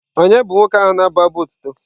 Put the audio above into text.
Ònye bụ nwoke ahụ na-abụ abụ otuto?